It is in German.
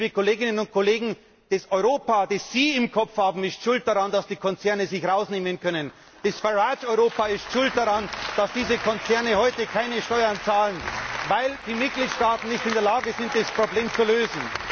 Liebe Kolleginnen und Kollegen Das Europa, das Sie im Kopf haben, ist schuld daran, dass die Konzerne sich das herausnehmen können, das Farage Europa ist schuld daran, dass diese Konzerne heute keine Steuern zahlen, weil die Mitgliedstaaten nicht in der Lage sind, das Problem zu lösen!